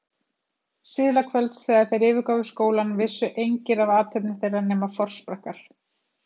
Síðla kvölds, þegar þeir yfirgáfu skólann, vissu engir af athöfnum þeirra nema forsprakkar